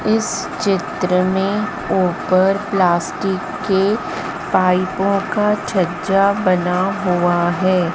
इस चित्र में ऊपर प्लास्टिक के पाइपों का छज्जा बना हुआ हैं।